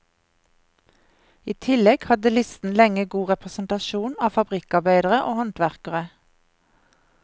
I tillegg hadde listen lenge god representasjon av fabrikkarbeidere og håndverkere.